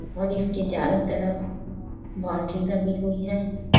और इसके चारों तरफ बाउंड्री लगी हुई है।